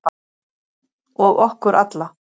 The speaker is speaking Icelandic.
Og okkur alla.